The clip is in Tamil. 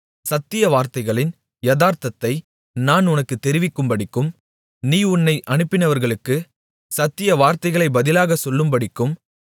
சத்திய வார்த்தைகளின் யதார்த்தத்தை நான் உனக்குத் தெரிவிக்கும்படிக்கும் நீ உன்னை அனுப்பினவர்களுக்குச் சத்திய வார்த்தைகளை பதிலாக சொல்லும்படிக்கும்